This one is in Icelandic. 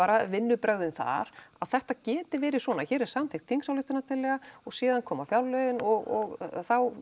vinnubrögðin þar að þetta geti verið svona hér er samþykkt þingsályktunartillaga og síðan koma fjárlögin og þá